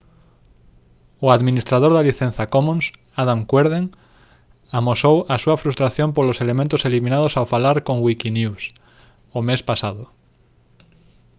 o administrador da licenza commons adam cuerden amosou a súa frustración polos elementos eliminados ao falar con wikinews o mes pasado